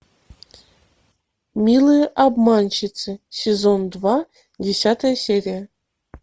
милые обманщицы сезон два десятая серия